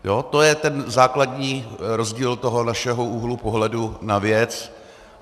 To je ten základní rozdíl toho našeho úhlu pohledu na věc.